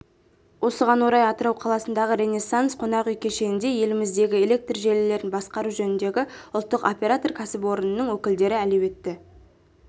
осыған орай атырау қаласындағы ренессанс қонақ үй кешенінде еліміздегі электр желілерін басқару жөніндегі ұлттық оператор-кәсіпорынның өкілдері әлеуетті